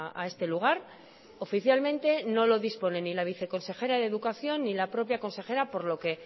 a este lugar oficialmente no lo dispone ni la viceconsejera de educación ni la propia consejera por lo que